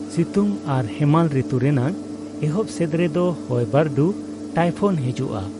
ᱥᱤᱛᱩᱝ ᱟᱨ ᱦᱮᱢᱟᱞ ᱨᱤᱛᱩ ᱨᱮᱱᱟᱜ ᱮᱦᱚᱵ ᱥᱮᱫ ᱨᱮ ᱫᱚ ᱦᱚᱭ ᱵᱟᱹᱨᱰᱩ ᱴᱟᱭᱯᱷᱚᱱ ᱦᱤᱡᱩᱜᱼᱟ ᱾